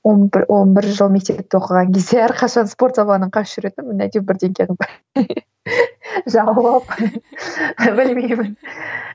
он бір он бір жыл мектепте оқыған кезде әрқашан спорт сабағынан қашып жүретінмін әйтеуір бірдеңе қылып білмеймін